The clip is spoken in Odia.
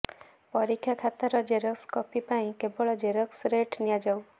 ପରୀକ୍ଷା ଖାତାର ଜେରକ୍ସ କପିପାଇଁ କେବଳ ଜେରକ୍ସ ରେଟ୍ ନିଆଯାଉ